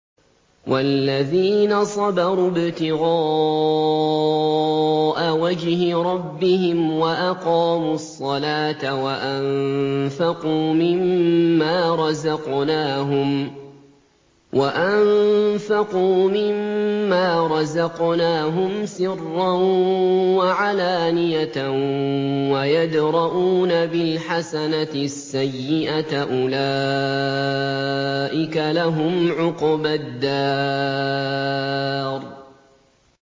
وَالَّذِينَ صَبَرُوا ابْتِغَاءَ وَجْهِ رَبِّهِمْ وَأَقَامُوا الصَّلَاةَ وَأَنفَقُوا مِمَّا رَزَقْنَاهُمْ سِرًّا وَعَلَانِيَةً وَيَدْرَءُونَ بِالْحَسَنَةِ السَّيِّئَةَ أُولَٰئِكَ لَهُمْ عُقْبَى الدَّارِ